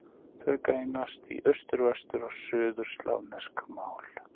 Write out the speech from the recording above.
Þau greinast í austur-, vestur- og suðurslavnesk mál.